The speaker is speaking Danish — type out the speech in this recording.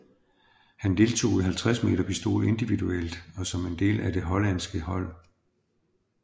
Han deltog i 50 m pistol individuelt og som en del af det hollandske hold